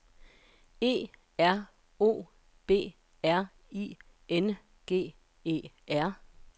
E R O B R I N G E R